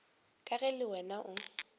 ka ge le wena o